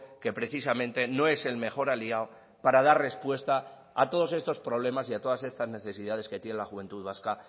que precisamente no es el mejor aliado para dar respuesta a todos estos problemas y a todas estas necesidades que tiene la juventud vasca